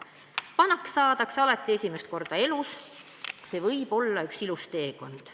Ja Kai Saks on öelnud: "Vanaks saadakse alati esimest korda elus, see võiks olla üks ilus teekond.